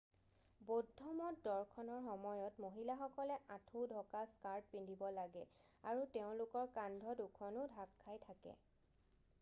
বৌদ্ধমঠ দৰ্শনৰ সময়ত মহিলাসকলে আঁঠু ঢকা স্কাৰ্ট পিন্ধিব লাগে আৰু তেওঁলোকৰ কান্ধ দুখনো ঢাক খাই থাকে